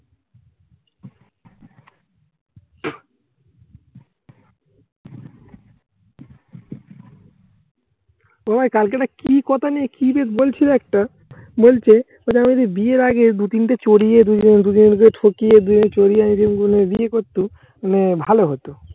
তোমায় কালকে না কি কথা নিয়ে কি যে বলছিলে একটা বলছে এটা যদি বিয়ের আগে দু তিনটা চড়িয়ে ঠকিয়ে বিয়ে বিয়ে করতো মানে ভালো হতো।